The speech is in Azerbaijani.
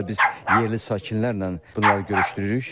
Eyni zamanda biz yerli sakinlərlə bunları görüşdürürük.